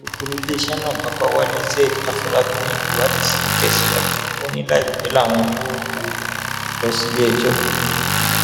alūkọrọ iléeṣẹ náà babawalé zaid afòlábí ní ìwádìí sì ń tẹsíwájú ó ní láìpẹ làwọn yóò wọ ọ lọ síléẹjọ